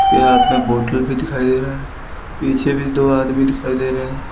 यहां पे बॉटल भी दिखाई दे रहा है पीछे भी दो आदमी दिखाई दे रहे--